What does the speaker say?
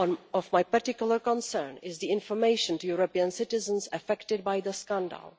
Of particular concern to me is the information to European citizens affected by the scandal.